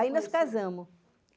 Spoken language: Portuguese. Aí nós casamos.